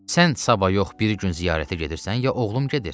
Sən sabah yox, bir gün ziyarətə gedirsən ya oğlum gedir?